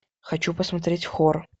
хочу посмотреть хор